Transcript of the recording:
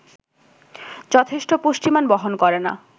যথেষ্ট পুষ্টিমান বহন করে না